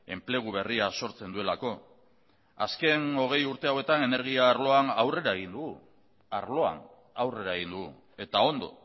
enplegua berria ere sortzen duelako ere azken hogei urte hauetan energia arloan aurrera egin dugu eta ondo